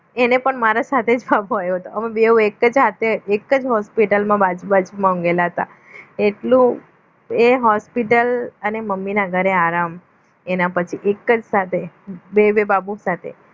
એને પણ મારા સાથે બાબો આવ્યો હતો. અમે બે એક જ સાથે એક જ હોસ્પિટલમાં બાજુ બાજુમાં ઊંઘેલા હતા એટલો એ હોસ્પિટલ અને મમ્મીના ઘરે આરામ એના પછી એક જ સાથે બે બે બાબો સાથે